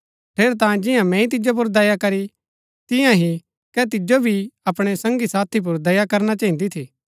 ठेरैतांये जिंआ मैंई तिजो पुर दया करी तियां ही कै तिजो भी अपणै संगी साथी पुर दया करना चहिन्दी थी